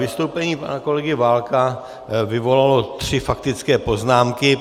Vystoupení pana kolegy Válka vyvolalo tři faktické poznámky.